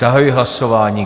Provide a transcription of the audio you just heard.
Zahajuji hlasování.